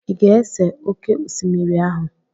Ị ga-ese oké osimiri ahụ?